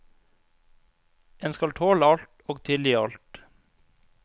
En skal tåle alt og tilgi alt.